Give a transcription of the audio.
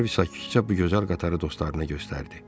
Harvi sakitcə bu gözəl qatarı dostlarına göstərdi.